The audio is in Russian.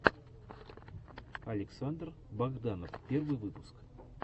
александр богданов первый выпуск